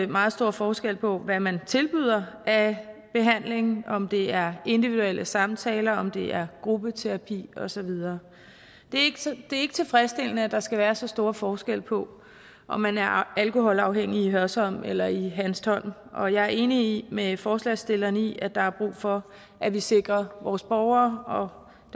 meget stor forskel på hvad man tilbyder af behandling om det er individuelle samtaler om det er gruppeterapi og så videre det er ikke tilfredsstillende at der skal være så stor forskel på om man er alkoholafhængig i hørsholm eller i hanstholm og jeg er enig med forslagsstillerne i at der er brug for at vi sikrer vores borgere og